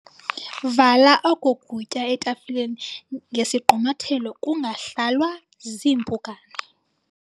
Vala oku kutya etafileni ngesigqumathelo kungahlalwa ziimpukane.